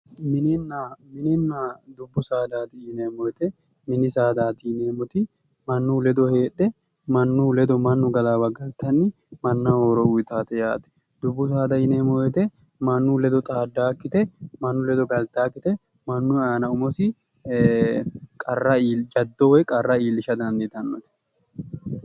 Mininna ,mininna dubbu saadati yinneemmoti mannu kedo heedhe mannu ledo galittanni mannaho horo uyittate yaate ,dubbu saada yinneemmo woyte mannu ledo xaadanokkite mannu ledo galittanokkite, mannu iima umosi jado woyi qarra iillishsha dandiittanote.